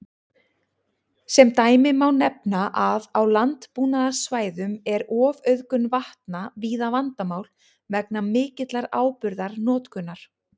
Sem dæmi má nefna að á landbúnaðarsvæðum er ofauðgun vatna víða vandamál vegna mikillar áburðarnotkunar.